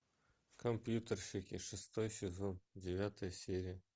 компьютерщики шестой сезон девятая серия